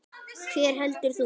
Hver heldur þú?